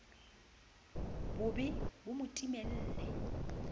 bo be bo mo timelle